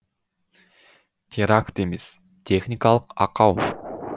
теракт емес техникалық ақау